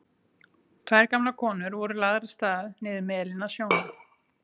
Tvær gamlar konur voru lagðar af stað niður melinn að sjónum.